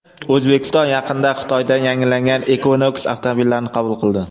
O‘zbekiston yaqinda Xitoydan yangilangan Equinox avtomobillarini qabul qildi.